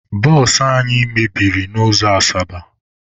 Bụsụ anyị mebiri n'ụzọ Asaba.